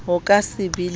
ho ka se be le